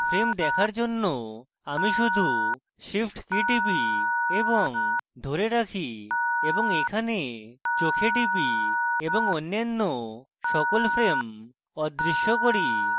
frames দেখার জন্য আমি শুধু shift key টিপি এবং ধরে রাখি এবং এখানে চোখে টিপি এবং অন্যান্য সকল frames অদৃশ্য key